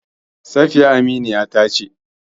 Safiya aminiya ta ce.